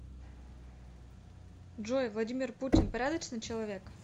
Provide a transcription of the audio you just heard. джой владимир путин порядочный человек